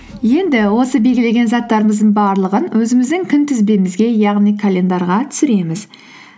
енді осы белгілеген заттарымыздың барлығын өзіміздің күнтізбемізге яғни календарьға түсіреміз